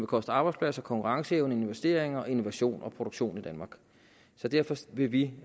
koste arbejdspladser konkurrenceevne investeringer innovation og produktion i danmark så derfor vil vi